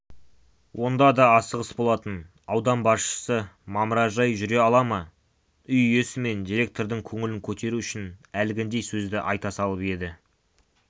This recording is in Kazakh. онда да асығыс болатын аудан басшысы мамыражай жүре ала ма үй иесі мен директордың көңілін көтеру үшін әлгіндей сөзді айта салып еді